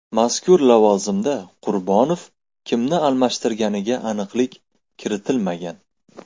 Mazkur lavozimda Qurbonov kimni almashtirganiga aniqlik kiritilmagan.